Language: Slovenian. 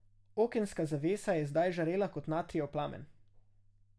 Okenska zavesa je zdaj žarela kot natrijev plamen.